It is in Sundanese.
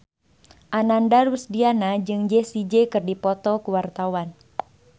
Ananda Rusdiana jeung Jessie J keur dipoto ku wartawan